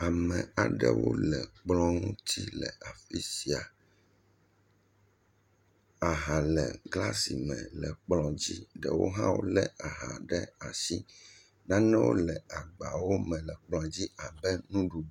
Ame aɖewo le kplɔ̃ ŋuti le afi sia. Aha le glasi me le kplɔ̃ dzi. Ɖewo hã wolé aha ɖe asi. Nanewo le agbawo me le kplɔ̃dzi abe nuɖuɖu.